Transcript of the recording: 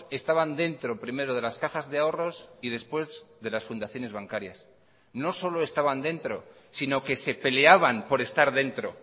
estaban dentro primero de las cajas de ahorros y después de las fundaciones bancarias no solo estaban dentro sino que se peleaban por estar dentro